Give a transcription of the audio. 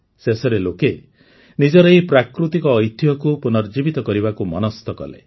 ଶେଷରେ ଲୋକେ ନିଜର ଏହି ପ୍ରାକୃତିକ ଐତିହ୍ୟକୁ ପୁନର୍ଜୀବିତ କରିବାକୁ ମନସ୍ଥ କଲେ